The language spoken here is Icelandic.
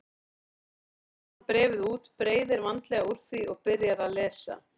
Síðan dregur hann bréfið út, breiðir vandlega úr því og byrjar að lesa.